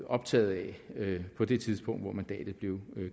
optaget af på det tidspunkt hvor mandatet blev